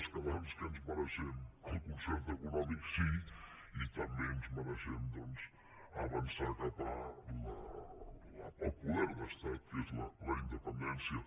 els catalans què ens mereixem el concert econòmic sí i també ens mereixem doncs avançar cap al poder d’estat que és la independència